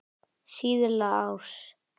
Síðla árs.